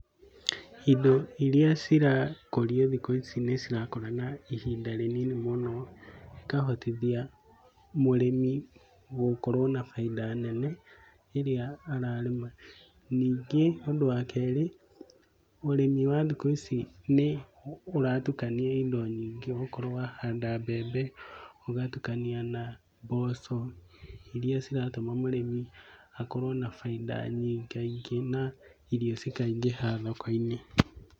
Indo iria cirakũrio thĩkũ ici nĩ cirakũra na ihinda rĩnini mũno, ĩkahotithia mũrĩmi gũkorwo na baida nene rĩrĩa ararĩma. Ningĩ ũndũ wa kerĩ ũrĩmi wa thikũ ici nĩũratukania indo nyingĩ ũgakorwo wahanda mbembe, ũgatukania na mboco iria ciratũma mũrĩmi akorwo na bainda nyingaingĩ na irio cĩkaingĩha thoko-inĩ.